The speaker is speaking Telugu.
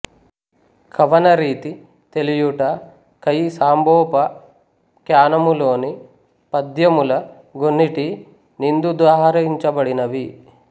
కవనరీతి తెలియుట కయి సాంబోపాఖ్యానములోని పద్యముల గొన్నిటి నిం దుదాహరించ బడినవి